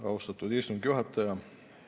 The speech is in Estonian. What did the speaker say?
Austatud istungi juhataja!